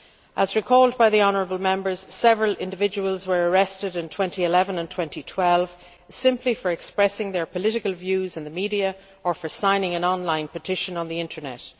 As was recalled by honourable Members, several individuals were arrested in 2011 and 2012 simply for expressing their political views in the media or for signing an on line petition on the Internet.